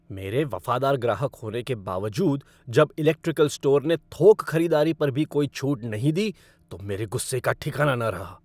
मेरे वफादार ग्राहक होने के बावजूद जब इलेक्ट्रिकल स्टोर ने थोक ख़रीदारी पर भी कोई छूट नहीं दी तो मेरे गुस्से का ठिकाना न रहा।